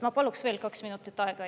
Ma paluks veel kaks minutit aega.